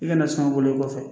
I kana sɔn o bɔlen kɔfɛ